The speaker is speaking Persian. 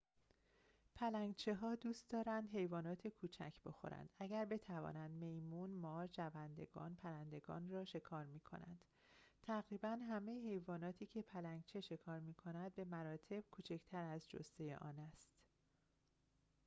پلنگچه‌ها دوست دارند حیوانات کوچک بخورند اگر بتوانند میمون مار جوندگان و پرندگان را شکار می‌کنند تقریباً همه حیواناتی که پلنگچه شکار می‌کند به مراتب کوچکتر از جثه آن است